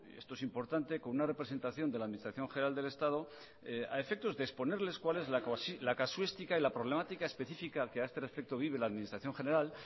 esto es importante con una representación de la administración general del estado a efectos de exponerles cuál es la casuística y la problemática específica que a este respecto vive la administración general